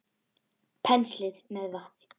Penslið með vatni.